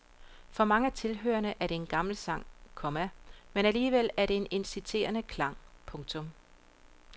For mange af tilhørerne er det en gammel sang, komma men alligevel med en inciterende klang. punktum